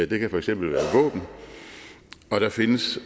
det kan for eksempel være våben og der findes